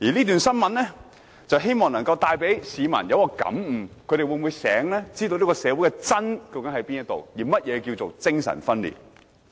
我希望這則新聞能給予市民感悟，讓他們清楚知道社會上的"真"究竟在哪裏，而甚麼是"精神分裂"。